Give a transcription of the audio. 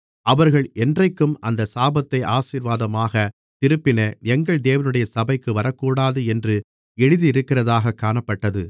அவர்கள் என்றைக்கும் அந்தச் சாபத்தை ஆசீர்வாதமாகத் திருப்பின எங்கள் தேவனுடைய சபைக்கு வரக்கூடாது என்று எழுதியிருக்கிறதாகக் காணப்பட்டது